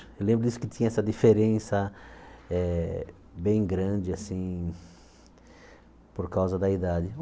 Eu lembro disso, que tinha essa diferença eh bem grande, assim, por causa da idade.